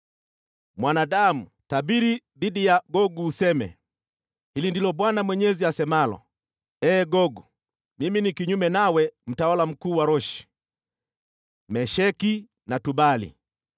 “Mwanadamu, tabiri dhidi ya Gogu useme: ‘Hili ndilo Bwana Mwenyezi asemalo: Ee Gogu mimi ni kinyume nawe, mtawala mkuu wa Roshi, Mesheki na Tubali.